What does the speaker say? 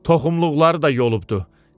Toxumluqları da yolubdu.